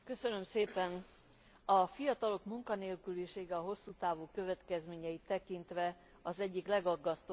A fiatalok munkanélkülisége hosszú távú következményeit tekintve az egyik legaggasztóbb európai probléma.